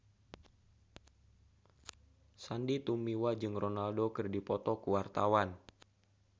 Sandy Tumiwa jeung Ronaldo keur dipoto ku wartawan